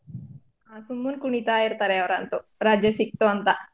ಸುಮ್ನೆ ಕುಣಿತ ಇರ್ತಾರೆ ಅವ್ರಂತು ರಜೆ ಸಿಕ್ತು ಅಂತ.